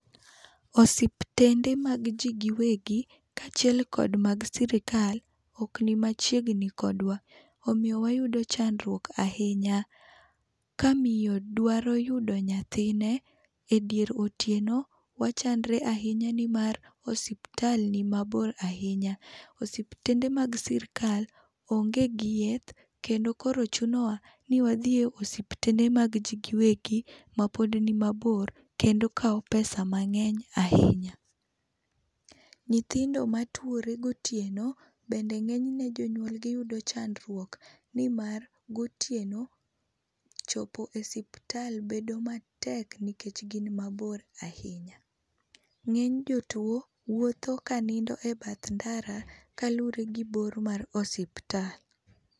Osiptende mag ji giwegi kaachiel kod mag sirikal ok ni machiegni kodwa, omiyo wayudo chandruok ahinya. Kamiyo dwaro yudo nyathine edier otieno, wachandre ahinya nimar osiptal nimabor ahinya. Osiptende mag sirkal onge gi yeth kendo koro chunowa ni wadhi e osiptende mag ji giwegi mapod nimabor kendo kawo pesa mang'eny ahinya. Nyithindo matuore gotieno bende ng'enyne jonyuolgi yudo chandruok nimar gotieno chopo e osiptal bedo matek nimar gin mabor ahinya. Ng'eny jopuonj wuotho kanindo ebath ndara kaluwore gi bor mar osiptal.